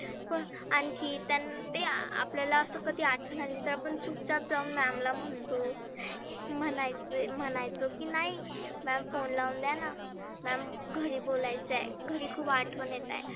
पण आणखी त्यां ते आपल्याला असं ते आठवन आली तर आपण चुपचाप जाऊन ma'am ला म्हणतो. म्हणायच म्हणायचो की नाही ma'am phone लावून द्याना. ma'am घरी बोलायचं घरी बोलायचंय घरी खुप आठवन येत आहे.